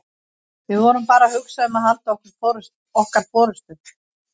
Við vorum bara að hugsa um að halda okkar forystu.